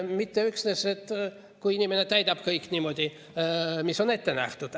Minister ütles, et kui inimene täidab kõik, mis on ette nähtud.